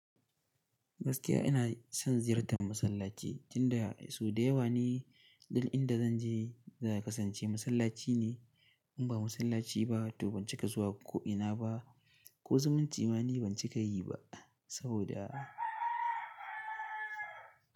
Gaskiya ina son ziyartar masallaci, tinda sau da yawa ne dik inda zan je za ya kasance masallaci ne. In ba masallaci ba to ban cika zuwa ko'ina ba ko zumunce ma ni ban cika yi ba saboda.